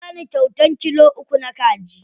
Ya bani kyauta kilo uku na kaji.